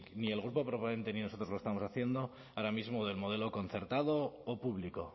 ni el grupo proponente ni nosotros lo estamos haciendo ahora mismo del modelo concertado o público